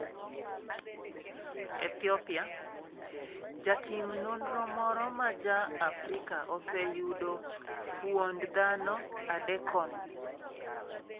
Ethiopia: Jatim nonro moro ma Ja - Afrika oseyudo fuond dhano adekon